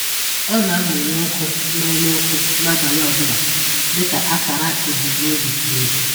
Ọ na-amụnye ọkụ n’ọnụ ọkụ n’abalị ọ bụla dịka akara ebumnobi na udo.